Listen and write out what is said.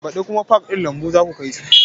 Baɗi kuma pak ɗin lambu zaku kai su